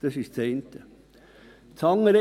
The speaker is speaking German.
Das ist das eine.